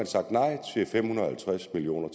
sagt nej til fem hundrede og halvtreds million